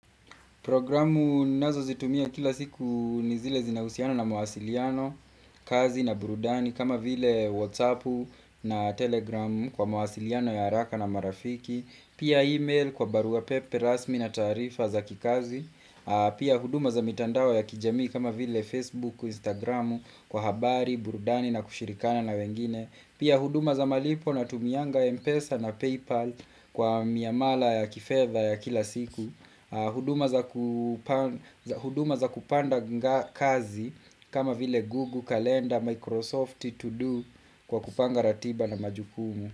Programu ni nazo zitumia kila siku nizile zinahusiana na mwasiliano, kazi na burudani kama vile whatsappu na telegramu kwa mwasiliano ya haraka na marafiki, pia email kwa barua pepe, rasmi na taarifa za kikazi, pia huduma za mitandao ya kijamii kama vile facebook, instagramu kwa habari, burudani na kushirikiana na wengine, pia huduma za malipo na tumianga Mpesa na Paypal kwa miamala ya kifeva ya kila siku. Huduma za ku huduma za kupanda kazi kama vile Google, Calendar, Microsoft, to Do kwa kupanga ratiba na majukumu.